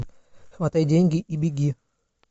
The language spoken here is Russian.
хватай деньги и беги